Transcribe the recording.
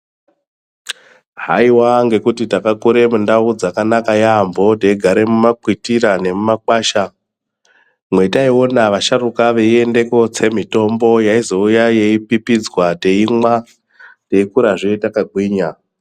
Haiwa ngekuti takakure mundau dzakanaka yaampho teigare mumakwitira nemumakwasha, mwataiona asharuka veienda kootsa mitombo vouya nayo vopipidza tokurazve takagwinya.